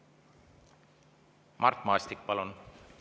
Mart Maastik, palun!